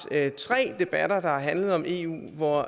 tre debatter der har handlet om eu og hvor